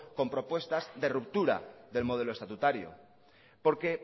con propuestas de ruptura del modelo estatutario porque